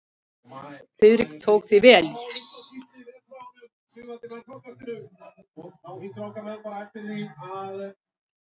Friðrik tók því vel.